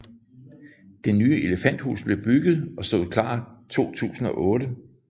Det nye elefanthus blev bygget og stod klart 2008